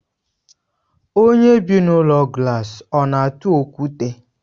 Onye bị n'ụlọ glaasi ọna atụ okwute?